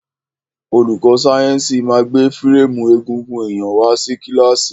Olùkó sáyẹ́nsì ma gbé férémù egungun èyàn wá sí kílàsì.